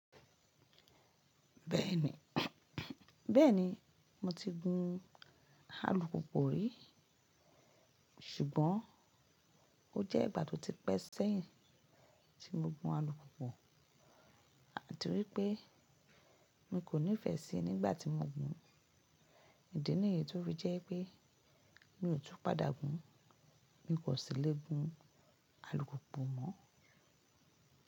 Bẹ́ẹ̀ni, bẹ́ẹ̀ni mo ti gun alùpùpù rí ṣùgbọ́n ó jẹ́ ìgbà tó ti pẹ́ sẹ́yìn tí mo gun alùpùpù àti wípé mi kò nífẹ síí nígbàtí mo gùn, ìdí nìyí tó fi jẹ́ pé mi ò tún padà gùn, mi kò sì le gun alùpùpù mọ́.